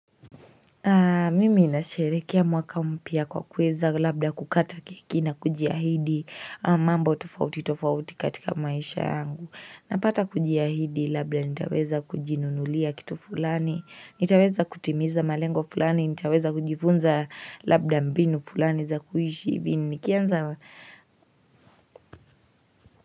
Mimi inasherekea mwaka mpya kwa kuweza labda kukata keki nakujihaidi mambo tofauti tofauti katika maisha yangu. Napata kujiahidi labda nitaweza kujinunulia kitu fulani, nitaweza kutimiza malengo fulani, nitaweza kujifunza labda mbinu fulani za kuhishi hivi nikianza.